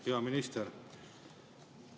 Hea minister!